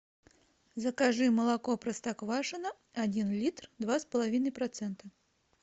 закажи молоко простоквашино один литр два с половиной процента